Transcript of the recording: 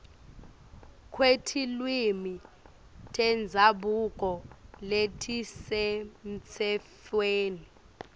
kwetilwimi tendzabuko letisemtsetfweni